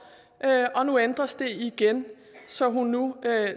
og nu ændres de igen så hun nu